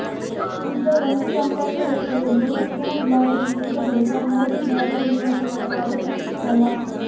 ಇದ್ದ ಒಂದು ಸಂಪರ್ಕ ರಸ್ತೆಯನ್ನು ರಕ್ಷಣಾ ಇಲಾಖೆ ಮುಚ್ಚಿದ ಬಳಿಕ ಮೋದಿ ಗಾರ್ಡನ್ ನಿವಾಸಿಗಳ ಪಾಡು ಅಷ್ಟಿಷ್ಟಲ್ಲ